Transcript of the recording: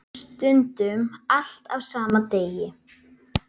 Stundum allt á sama degi.